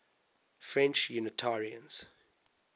french unitarians